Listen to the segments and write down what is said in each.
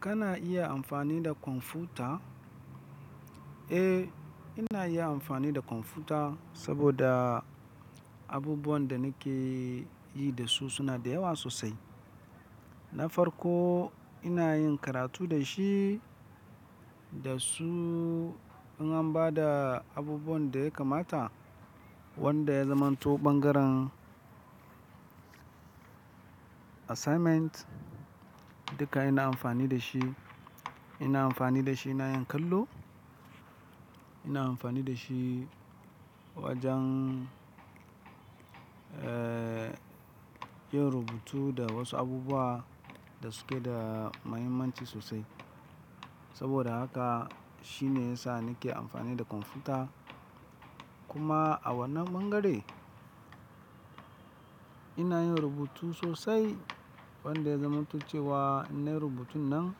Kana iya amfani da kwamfuta? Eh, ina iya amfani da kwamfuta saboda abubuwan da nake yi da su suna da yawa sosai. Na farko ina yin karatu da shi, da su, in an ba da abubuwan da ya kamata wanda ya zamanto ɓangaren assignment, duka ina amfani da shi. Ina amfani da shi ina yin kallo, ina amfani da shi wajen, eh, yin rubutu da wasu abubuwa da suke da mahimmanci sosai. Saboda haka shi ne ya sa nake amfani da kwamfuta. Kuma a wannan bangare ina yin rubutu sosai wanda ya zamantuce wa innayi rubutun nan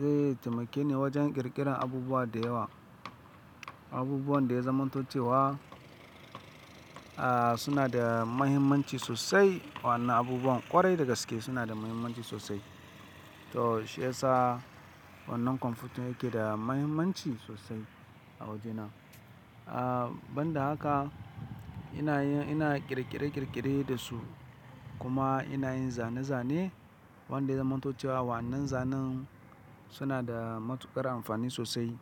zai taimake ni wajen ƙirƙirar abubuwa da yawa. Abubuwan da ya zamantuce wa, ah, suna da mahimmanci sosai. Wa'annan abubuwan ƙwarai da gaske suna da mahimmanci sosai. To shi ya sa wannan kwamfutan yake da mahimmanci sosai a wajena. Ah, ban da haka ina yin, ina ƙirƙire-ƙirƙire da su kuma ina yin zane-zane wanda ya zamantuce wa wa'annan zanen suna da matuƙar amfani sosai,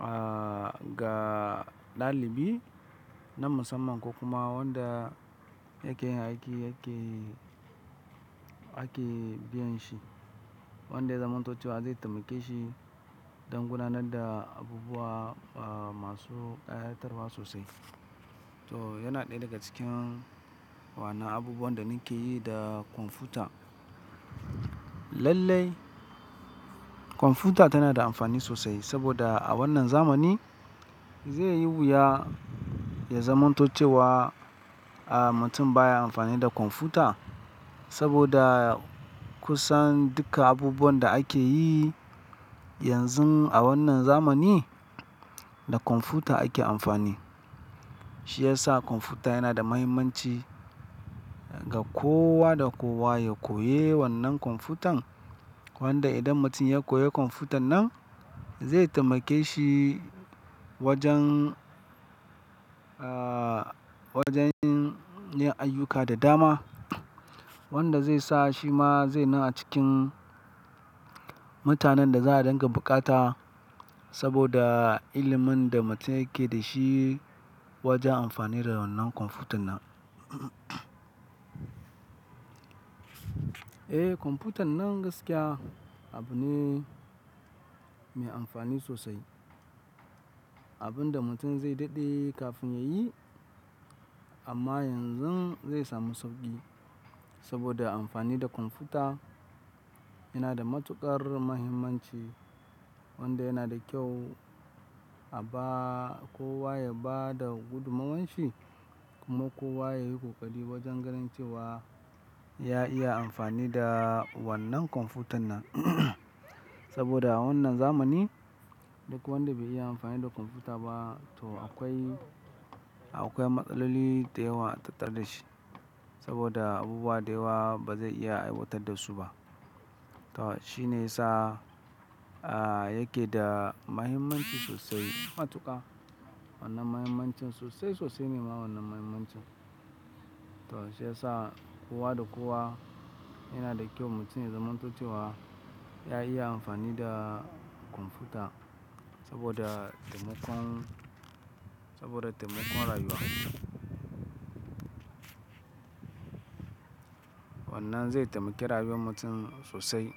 ah, ga ɗalibi na musamman kokuma wanda yake yin aiki yake, ake biyan shi. Wanda ya zamantuce wa zai taimake shi don gudanar da abubuwa, ah, masu kayatarwa sosai. To yana ɗaya daga cikin waɗannan abubuwan da nake yi da kwamfuta. Lallai kwamfuta tana da amfani sosai saboda a wannan zamani zai yi wuya ya zamantoce wa, ah, mutum baya amfani da kwamfuta saboda kusan duka abubuwan da ake yi yanzu a wannan zamani da kwamfuta ake amfani. Shi ya sa kwamfuta yana da mahimmanci ga kowa da kowa ya koyi wannan kwamfutan. Wanda idan mutum ya koyi kwamfutan nan zai taimake shi wajen, ah, wajen yin ayyuka da dama wanda zai sa shi ma zai zama a cikin mutanen da za a dinga bukata saboda ilimin da mutum yake da shi wajen amfani da wannan kwamfutan nan. Eh, kwamfutan nan gaskiya abu ne mai amfani sosai. Abin da mutum zai daɗe kafin ya yi amma yanzu zai samu sauƙi saboda amfani da kwamfuta yana da matuƙar mahimmanci wanda yana da kyau a ba kowa ya ba da gudumomowar shi kuma kowa ya yi ƙoƙari wajen ganin cewa ya iya amfani da wannan kwamfutan nan. Saboda a wannan zamani duk wanda bai iya amfani da kwamfuta ba to akwai, akwai matsaloli da yawa a tattare da shi saboda abubuwa da yawa ba zai iya aiwatar da su ba. To shi ne yasa, ah, yake da mahimmanci sosai. Matuƙa wannan mahimmancin sosai sosai ne ma wannan mahimmanci. To shi ya sa kowa da kowa yana da kyau mutum ya zamantaloce wa ya iya amfani da kwamfuta saboda taimakon, saboda taimakon rayuwa. Wannan zai taimake rayuwar mutum sosai.